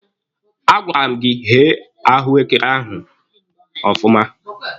A gwara m gị ghee granọtụ ahụ ọfụma!